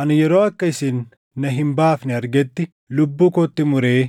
Ani yeroo akka isin na hin baafne argetti lubbuu kootti muree